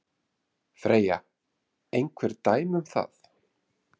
Freyja: Einhver dæmi um það?